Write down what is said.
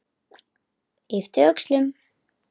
Yppti öxlum.